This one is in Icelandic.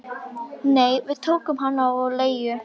Nei, við tókum hann á leigu